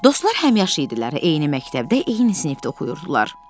Dostlar həmyaşıd idilər, eyni məktəbdə, eyni sinifdə oxuyurdular.